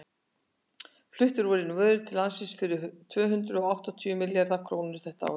fluttar voru inn vörur til landsins fyrir tvö hundruð og átta milljarða króna þetta ár